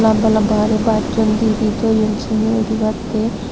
lamba lamba guri basun didi toyon sindi udibattey.